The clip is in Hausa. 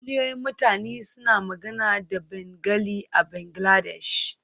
Miliyoyin mutane suna magana da Bengali a Bangladesh.